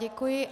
Děkuj.